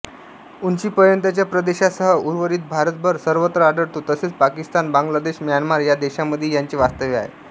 उंचीपर्यंतच्या प्रदेशासह उर्वरीत भारतभर सर्वत्र आढळतो तसेच पाकिस्तान बांगलादेश म्यानमार या देशांमध्येही याचे वास्तव्य आहे